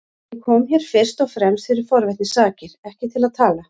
Ég kom hér fyrst og fremst fyrir forvitni sakir, ekki til að tala.